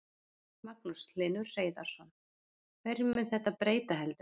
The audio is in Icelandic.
Magnús Hlynur Hreiðarsson: Hverju mun þetta breyta heldurðu?